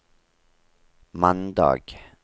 mandag